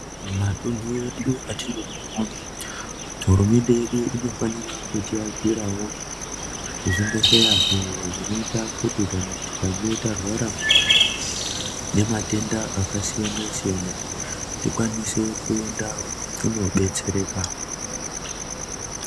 Matunhu edu atinogara hurumende yedu inofanira kuti akiravo zvibhedhleya. Izvo zvinoita kuti kana tikange tarwara nematenda akasiyana-siyana, tikwanise kuenda kunobetsereka.